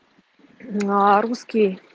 аа русский